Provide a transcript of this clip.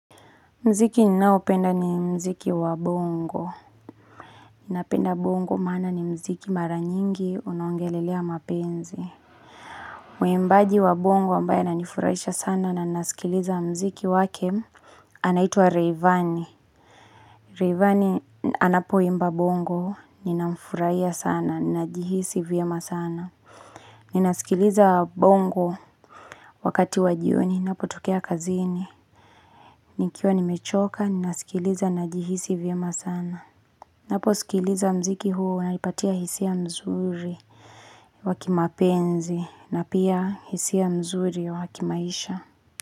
Muziki ninaopenda ni muziki wa bongo. Ninapenda bongo maana ni muziki mara nyingi unaongelelea mapenzi. Mwimbaji wa bongo ambaye ananifurahisha sana na nasikiliza muziki wake anaitwa Rayvanny Rayvanny anapoimba bongo, ninamfurahia sana, najihisi vyema sana. Ninasikiliza bongo wakati wa jioni, ninapotokea kazini. Nikiwa nimechoka, ninasikiliza najihisi vyema sana. Naposikiliza muziki huo unanipatia hisia mzuri wa kimapenzi na pia hisia mzuri wakimaisha.